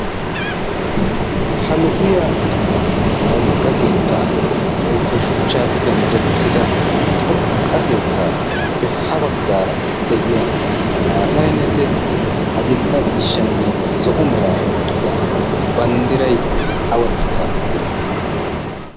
ha lo7iya wogga keettaa woikko shuchchaappe merettida xoqqa keettaappe ha baggaara de7iya maatainete adil77a ciishshanne zo7o mera oiqqida banddirai awa biittaa banddirai